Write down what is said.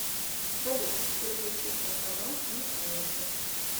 салют переключить на канал кинокомедия